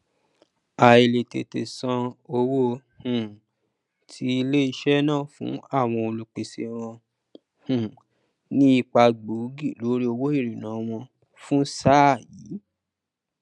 àìlètètè sàn owó um ti iléisẹ náà fún àwọn olùpèsè wọn um ní ipa gbóògì lórí owó ìríná wọn fún sáà yi